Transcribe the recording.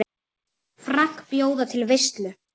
Frank bjóða til veislu.